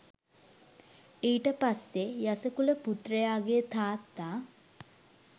ඊට පස්සේ යස කුලපුත්‍රයාගේ තාත්තා